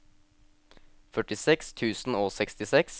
førtiseks tusen og sekstiseks